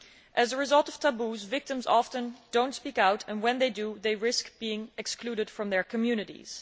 As a result of taboos, victims often do not speak out and, when they do, they risk being excluded from their communities.